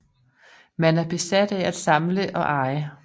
Man er besat af at samle og eje